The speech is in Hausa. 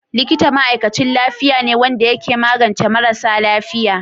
Likita ma'aikachin lafiya ne wanda ya ke magance marasa lafiya.